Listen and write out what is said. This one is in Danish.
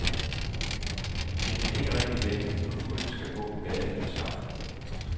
Det kan ikke rigtig vente, for budene skal på gaden med det samme.